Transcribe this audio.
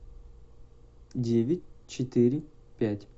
девять четыре пять